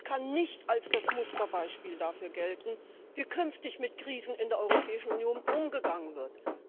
Und es kann nicht als das Musterbeispiel dafür gelten, wie künftig mit Krisen in der Europäischen Union umgegangen wird.